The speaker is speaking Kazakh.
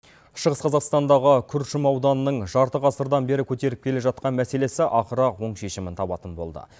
шығыс қазақстандағы күршім ауданының жарты ғасырдан бері көтеріліп келе жатқан мәселесі ақыры оң шешімін табатын болды